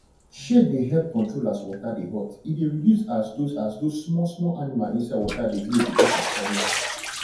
shade dey help control as water de hot e de reduce as those as those smalll small animal inside water de grow beacuse of sunlight